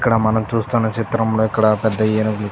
ఇక్కడ మనం చూస్తున్న చిత్రంలో ఇక్కడ పెద్ద ఏనుగులు --